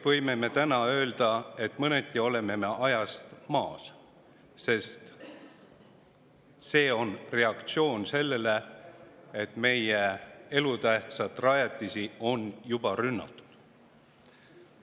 Me peame täna ütlema, et mõneti oleme ajast maas, sest see on reaktsioon sellele, et meie elutähtsaid rajatisi on juba rünnatud.